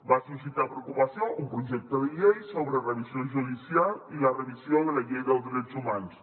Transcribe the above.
va suscitar preocupació un projecte de llei sobre revisió judicial i la revisió de la llei dels drets humans